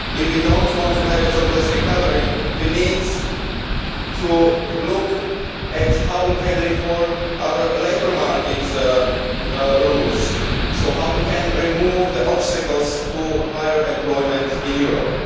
If we do not want to have a jobless recovery, we need to look at how we can reform our labour market rules and how we can remove the obstacles to higher employment in Europe.